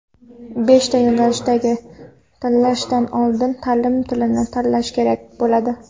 Beshta yo‘nalishni tanlashdan oldin ta’lim tilini tanlash kerak bo‘ladi.